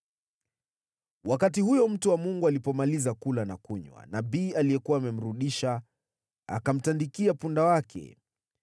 Wakati huyo mtu wa Mungu alipomaliza kula na kunywa, nabii aliyekuwa amemrudisha akamtandikia punda wake.